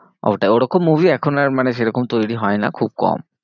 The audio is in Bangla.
ওটাই ওরকম movie এখন আর মানে সেরকম তৈরী হয়না, খুব কম।